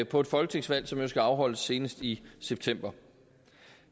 på et folketingsvalg som jo skal afholdes senest i september